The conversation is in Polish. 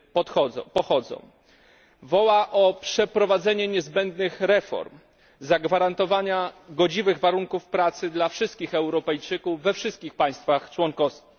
Migracja ta nawołuje o przeprowadzenie niezbędnych reform, zagwarantowanie godziwych warunków pracy dla wszystkich Europejczyków we wszystkich państwach członkowskich.